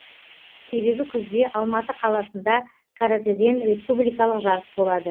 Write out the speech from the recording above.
себебі күзде алматы қаласында каратэден республикалық жарыс болады